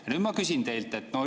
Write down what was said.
Ja nüüd ma küsin teilt.